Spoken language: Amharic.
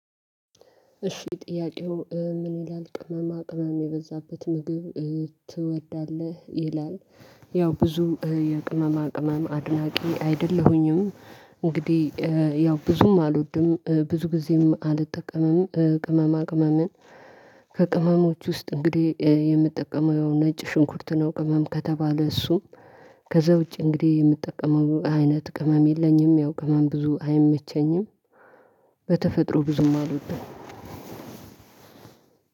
እሺ ጥያቄው ምን ይላል ቅመማ ቅመም የበዛበት ምግብ ትወዳለህ? ይላል ያው ብዙ የቅመማ ቅመም አድናቂ አይደለሁኝም። እንግዲህ ያው ብዙም አልወድም ብዙ ጊዜም አልጠቀምም ቅመማ ቅመምን። ከቅመሞች ውስጥ እንግዲህ የምንጠቀመው ነጭ ሽንኩርት ነው። ቅመም ከተባለ እሱም ከዛ ውጪ እንግዲህ የምትጠቀመው አይነት ቅመም የለኝም። ያው ቅመም ብዙ አይመቸኝም በተፈጥሮ ብዙም አልወድም፤።